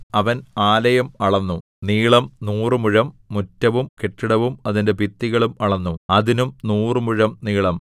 അവൻ ആലയം അളന്നു നീളം നൂറുമുഴം മുറ്റവും കെട്ടിടവും അതിന്റെ ഭിത്തികളും അളന്നു അതിനും നൂറുമുഴം നീളം